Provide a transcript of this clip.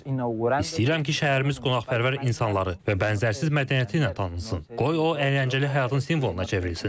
İstəyirəm ki, şəhərimiz qonaqpərvər insanları və bənzərsiz mədəniyyəti ilə tanınsın, qoy o əyləncəli həyatın simvoluna çevrilsin.